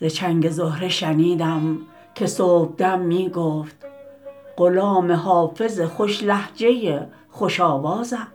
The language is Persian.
ز چنگ زهره شنیدم که صبح دم می گفت غلام حافظ خوش لهجه خوش آوازم